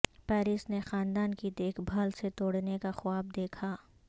Paris نے خاندان کی دیکھ بھال سے توڑنے کا خواب دیکھا